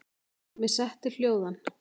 Mig setti hljóðan.